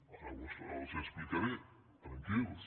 ara els les explicaré tranquils